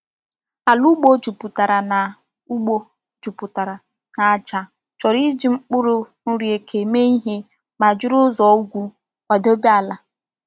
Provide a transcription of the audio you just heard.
Ala ugbo juputara na ugbo juputara na aja chọrọ iji mkpụrụ nri eke mee ihe ma jiri ụzọ ugwu kwadebe ala.